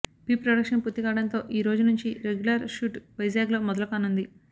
pre-production పూర్తి కావడంతో ఈరోజు నుండి రెగ్యులర్ షూట్ వైజాగ్లో మొదలుకానుంది